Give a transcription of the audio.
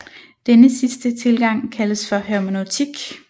Denne sidste tilgang kaldes for hermeneutik